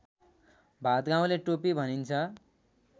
भादगाउँले टोपी भनिन्छ